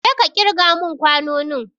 Jeka kirga mun kwanonin!